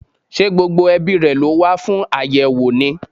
Ṣé gbogbo ẹbíi rẹ̀ ló wá fún àyẹ́wò ni?